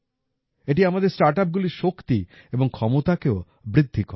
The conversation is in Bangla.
এটি আমাদের স্টার্টআপগুলির শক্তি এবং ক্ষমতাকেও বৃদ্ধি করে